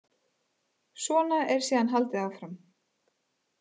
Svona er síðan haldið áfram.